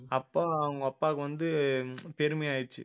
அப்ப அவங்க அப்பாவுக்கு வந்து பெருமை ஆயிடுச்சு